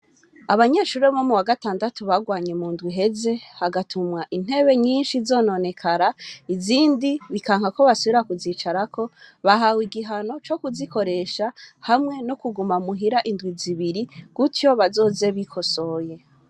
Abanyeshure bo muwagatandatu barwanye mundwi iheze hagatumwa intebe nyinshi zizononekara izindi bikanka ko bazosubira kuzicarako bahawe igihano zo kuzikoresha hamwe no kuguma muhira indwi zibiri kuryo bazoze bikosoye